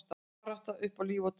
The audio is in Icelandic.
Barátta upp á líf og dauða